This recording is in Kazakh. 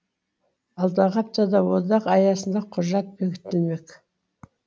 алдағы аптада одақ аясында құжат бекітілмек